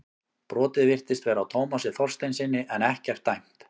Brotið virtist vera á Tómasi Þorsteinssyni en ekkert dæmt.